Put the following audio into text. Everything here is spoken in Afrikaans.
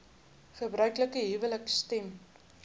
gebruiklike huwelike stem